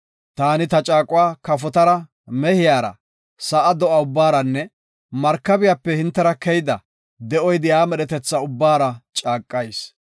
Taani ta caaquwa kafotara, mehiyara, sa7a do7a ubbaaranne, markabiyape hintera keyida, de7oy de7iya medhetetha ubbara caaqayis.